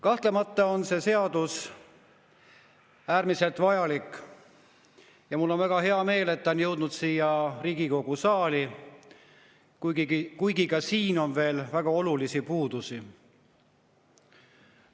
Kahtlemata on see seadus äärmiselt vajalik ja mul on väga hea meel, et ta on jõudnud Riigikogu saali, kuigi eelnõus on ka veel väga olulisi puudusi.